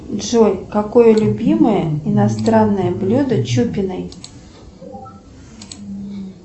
джой какое любимое иностранное блюдо чупиной